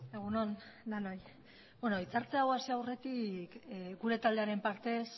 egun on denoi bueno hitz hartze hau hasi aurretik gure taldearen partez